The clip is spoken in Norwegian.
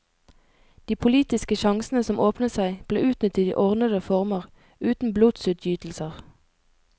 De politiske sjansene som åpnet seg, ble utnyttet i ordnede former, uten blodsutgytelser.